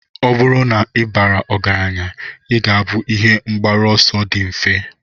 Ọ bụrụ na ị bara ọgaranya, ị ga-abụ ihe mgbaru ọsọ dị mfe.